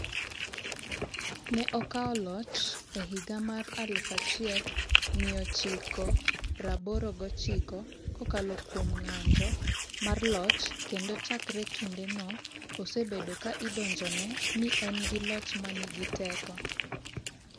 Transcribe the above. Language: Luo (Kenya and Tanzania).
Ne okawo loch e higa mar 1989 kokalo kuom ng’anjo mar loch kendo chakre kindeno osebedo ka idonjne ni en gi loch ma nigi teko.